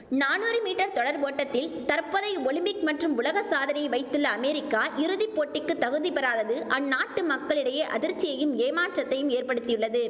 நானூறு மீட்டர் தொடர் ஓட்டத்தில் தற்போதைய ஒலிம்பிக் மற்றும் உலக சாதனையை வைத்துள்ள அமேரிக்கா இறுதி போட்டிக்கு தகுதி பெறாதது அந்நாட்டு மக்களிடையே அதிர்ச்சியையும் ஏமாற்றத்தையும் ஏற்படுத்தியுள்ளது